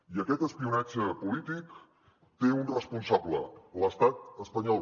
i aquest espionatge polític té un responsable l’estat espanyol